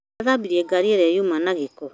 Arathambirie ngari ĩrĩa yuma na gĩko